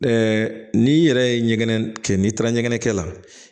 n'i yɛrɛ ye ɲɛgɛn kɛ n'i taara ɲɛgɛn kɛ la